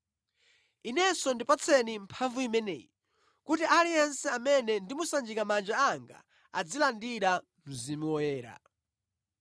“Inenso ndipatseni mphamvu imeneyi kuti aliyense amene ndimusanjika manja anga azilandira Mzimu Woyera.”